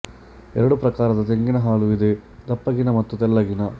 ಎರಡು ಪ್ರಕಾರದ ತೆಂಗಿನ ಹಾಲು ಇದೆ ದಪ್ಪಗಿನ ಮತ್ತು ತೆಳ್ಳಗಿನ